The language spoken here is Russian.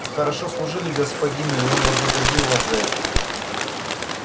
вы хорошо служили господину и он вознаградил вас за это